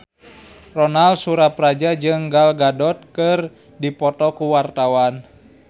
Ronal Surapradja jeung Gal Gadot keur dipoto ku wartawan